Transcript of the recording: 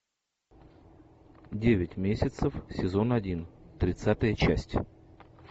девять месяцев сезон один тридцатая часть